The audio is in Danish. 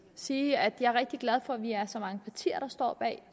sige at jeg er rigtig glad for at vi er så mange partier der står bag